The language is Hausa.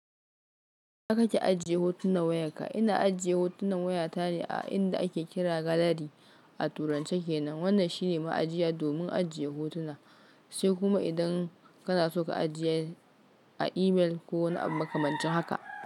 Ina kake ajiye hotunan wayarka? Ina ajiye hotunan wayata ne a inda ake kira gallery a turance kenan. Wannan shine ma'ajiya domin ajiye hotuna, sai kuma idan kanaso ka ajiye a email ko wani abu makamancin haka.